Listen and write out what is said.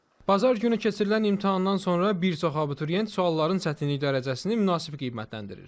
Bazar günü keçirilən imtahandan sonra bir çox abituriyent sualların çətinlik dərəcəsini münasib qiymətləndirir.